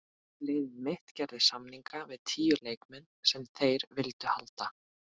Liðið mitt gerði samninga við tíu leikmenn sem þeir vildu halda.